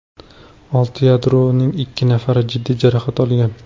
Olti yaradorning ikki nafari jiddiy jarohat olgan.